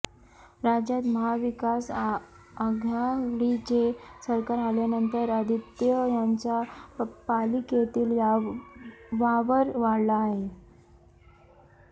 राज्यात महाविकास आघाडीचे सरकार आल्यानंतर आदित्य यांचा पालिकेतील वावर वाढला आहे